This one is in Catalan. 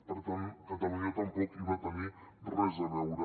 per tant catalunya tampoc hi va tenir res a veure